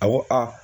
A ko a